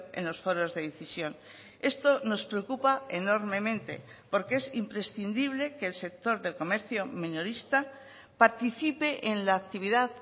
en los foros de decisión esto nos preocupa enormemente porque es imprescindible que el sector del comercio minorista participe en la actividad